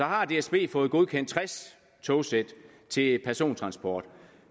har dsb fået godkendt tres togsæt til persontransport